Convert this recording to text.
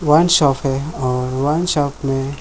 wine shop हैं और wine shop में --